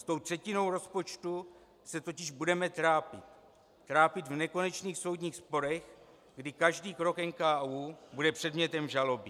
S tou třetinou rozpočtu se totiž budeme trápit, trápit v nekonečných soudních sporech, kdy každý krok NKÚ bude předmětem žaloby.